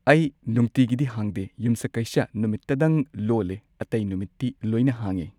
ꯑꯩ ꯅꯨꯡꯇꯤꯒꯤꯗꯤ ꯍꯥꯡꯗꯦ ꯌꯨꯝꯁꯀꯩꯁ ꯅꯨꯃꯤꯠꯇꯗꯪ ꯂꯣꯜꯂꯦ ꯑꯇꯩ ꯅꯨꯃꯤꯠꯇꯤ ꯂꯣꯏꯅ ꯍꯥꯡꯉꯦ